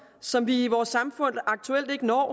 som vi i vores samfund aktuelt ikke når